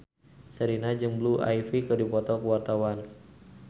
Sherina jeung Blue Ivy keur dipoto ku wartawan